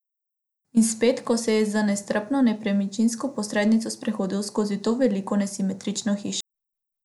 In spet, ko se je z nestrpno nepremičninsko posrednico sprehodil skozi to veliko, nesimetrično hišo.